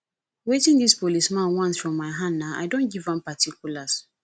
wetin dis police man want from my hand na i don give am particulars